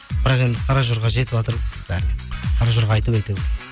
бірақ енді қаражорға жетіватыр ғой бәріне қаражорға айтып әйтеуір